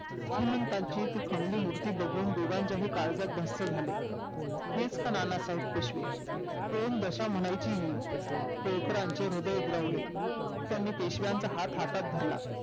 श्रीमंतांची ती खणलेली मूर्ती बघून दोघांच्याही काळजात धस झाले हेच काय ते नानासाहेब पेशवे कोण बसा म्हणायची होळकराचे हृदय दुरावले त्यांनी पेशवाचा हात हातात धरला